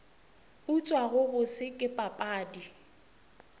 utswa go bose ke papadi